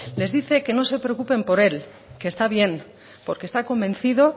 les dice que no se preocupen por él que está bien porque está convencido